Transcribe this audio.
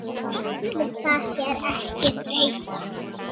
Ætli það sé ekki þreyta